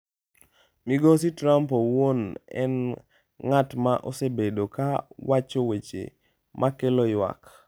Migosi Trump owuon en ng’at ma osebedo ka wacho weche ma kelo ywak.